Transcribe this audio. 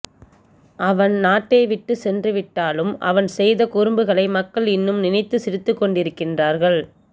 அவன் நாட்டை விட்டு சென்றுவிட்டாலும் அவன் செய்த குறும்புகளை மக்கள் இன்னும் நினைத்து சிரித்துக்கொண்டிருக்கிறார்கள்